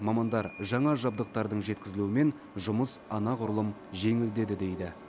мамандар жаңа жабдықтардың жеткізілуімен жұмыс анағұрлым жеңілдеді дейді